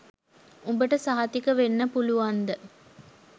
උබට සහතික වෙන්න පුලුවන්ද